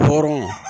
Hɔrɔnw